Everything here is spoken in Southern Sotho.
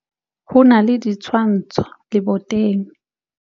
Ho na le ditshwantsho leboteng.